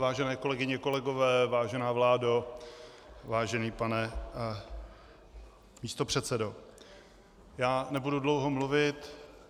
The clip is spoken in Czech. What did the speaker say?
Vážené kolegyně, kolegové, vážená vládo, vážený pane místopředsedo, já nebudu dlouho mluvit.